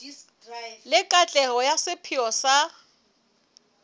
le katleho ya sepheo sa